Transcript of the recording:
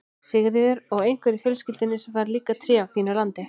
Sigríður: Og einhver í fjölskyldunni sem fær líka tré af þínu landi?